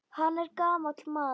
Hann er gamall maður.